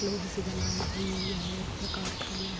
लोहे से बनाई हुई यह एक कारखाना है।